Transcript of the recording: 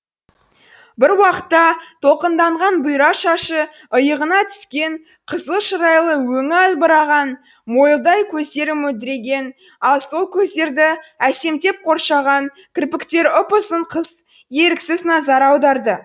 бір уақытта толқынданған бұйра шашы иығына түскен қызыл шырайлы өңі албыраған мойылдай көздері мөлдіреген ал сол көздерді әсемдеп қоршаған кірпіктері ұп ұзын қыз еріксіз назар аударды